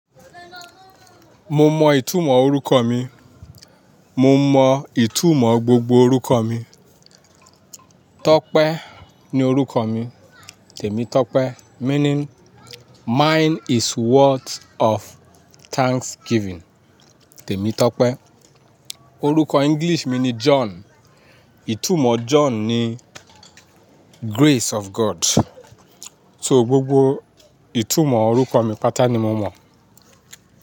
Mo mọ ìtumọ̀ orúkọ mi, mo mọ ìtumọ̀ gbogbo orúkọ mi. Tope ni orúkọ mi, Temitope meaning mine is worth of thanksgiving, Temitope. Orúkọ English mi ni John. Ìtumọ̀ John ni grace of God. So gbogbo ìtumọ̀ orúkọ mi pátá ni mo mọ̀.